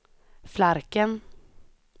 Flarken